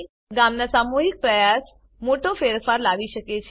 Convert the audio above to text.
ગામના સામૂહિક પ્રયાસ મોટો ફેરફાર લાવી શકે છે